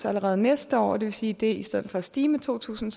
allerede næste år og det vil sige at det i stedet for at stige med to tusind